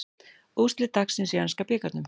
Úrslit dagsins í enska bikarnum